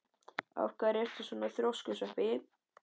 Af hverju ertu svona þrjóskur, Sveppi?